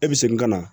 E bɛ segin ka na